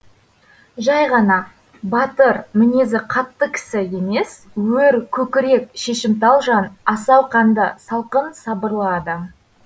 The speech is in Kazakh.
жай ғана батыр мінезі қатты кісі емес өр көкірек шешімтал жан асау қанды салқын сабырлы адам